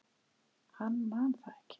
Hann man það ekki.